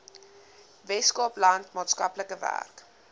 weskaapland maatskaplike werk